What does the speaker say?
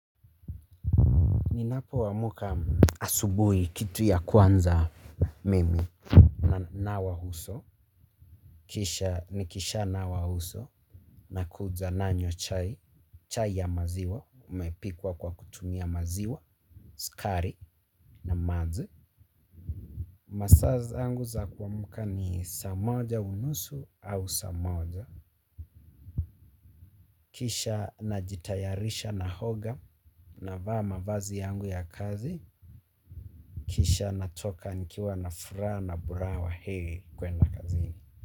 Ninapoamuka asubuhi kitu ya kwanza mimi hunawa uso. Kisha nikishanawa uso. Nakuja nanywa chai. Chai ya maziwa. Umepikwa kwa kutumia maziwa. Sukari na maji. Masaa zangu za kuamka ni saa moja unusu au saa moja. Kisha najitayarisha naoga. Navaa mavazi yangu ya kazi. Kisha natoka nikiwa na furaha na buraha wa heri kwenda kazini.